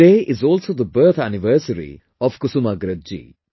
Today is also the birth anniversary of Kusumagraj ji